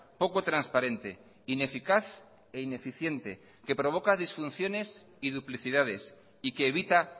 poco transparente ineficaz e ineficiente que provoca disfunciones y duplicidades y que evita